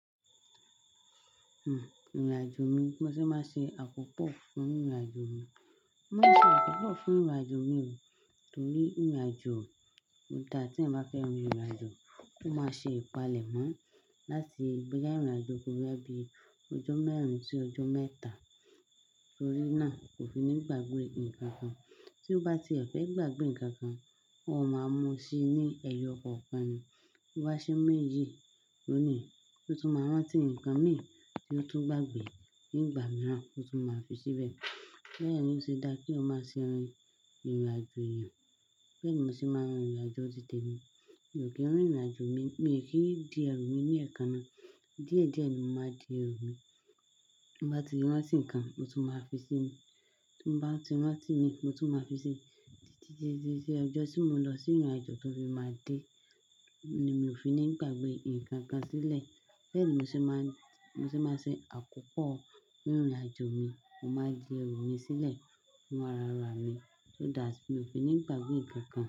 Hmm ìrìn àjò mi, bí mo ṣe máa ṣe àkópọ̀ fún ìrìn àjò mi. Mo máa ń ṣe àkópọ̀ fún ìrìn àjò mi torí ìrìn àjò ó dáa tí èèyàn bá fẹ́ rin ìrìn àjò, kó máa ṣe ìpalẹ̀mọ́ láti bóyà ìrìn àjò yẹ́n kúrò láti ọjọ́ mẹ́rin sí ọjọ́ mẹ́ta torí náà kò fi ní pàgbè nǹkan kan. Tí ó bá ti fẹ́ gbàgbè nǹkan kan, ó máa mú sí ní ẹyọ kọ̀ọ̀kan ni. BÓ bá ṣe ń méyì, òní, ó tún máa rántí nǹkan mìíràn tí ó tún gbàgbè nígbà mìíràn, ó tún máa fi síbẹ̀. Bẹ́ẹ̀ ni ó ṣe dáa kí èèyàn máa ṣe rin ìrìn àjò èèyàn. Bẹ́ẹ̀ ni mo ṣe máa ń rin ìrìn àjò títẹ mi. Kí ìrìn àjò mi, mi kìí di ẹrù mi ní ẹ̀ẹ̀kan náà. Díẹ̀ díẹ̀ ni mo máa di ẹrù mi. Bí mo bá ti rántí nǹkan, mo tún máa fi sí i. Tí mo bá ti rántí mi, mo tún máa fi sí i. Títí di ọjọ́ tí mo nlọ sí ìrìn àjò tó fi máa dé ni mi ò fi ní gbàgbè nǹkan kan sílẹ̀. Bẹ́ẹ̀ ni mo ṣe máa ń, mo ṣe máa ṣe àkópọ̀ fún ìrìn àjò mi. Mo máa di ẹrù mi sílẹ̀ fún ara ara mi so that mi ò fi ní gbàgbè nǹkan kan.